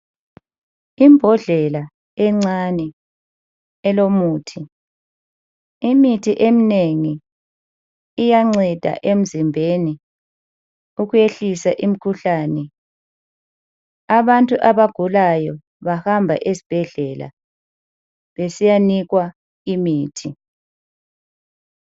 Ibhondlela encane elomuthi. Imithi eminengi iyanceda emzimbeni ukwehlisa imikhuhlane. Abantu abagulayo bahamba esibhedlela besiyanikwa imithi.